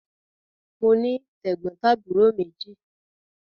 Mo ní tẹ̀gbọ́ntàbúrò méjì.